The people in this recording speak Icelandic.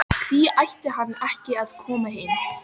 Hví ætti hann ekki að koma heim?